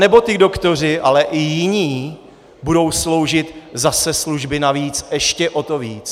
Anebo ti doktoři, ale i jiní, budou sloužit zase služby navíc ještě o to víc?